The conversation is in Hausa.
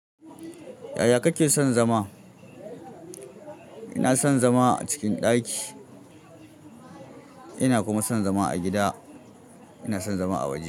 Yaya kake son zama? Ina son zama a cikin ɗaki, ina kuma son zama a gida ina son zama a waje.